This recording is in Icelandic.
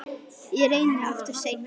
Ég reyni aftur seinna